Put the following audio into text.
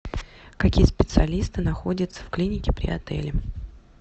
какие специалисты находятся в клинике при отеле